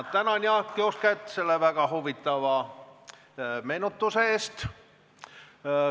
Ma tänan Jaak Jusket selle väga huvitava meenutuse eest.